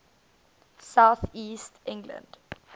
south east england